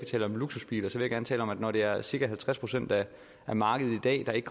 tale om luksusbiler så vil jeg gerne tale om at når det er cirka halvtreds procent af markedet i dag der ikke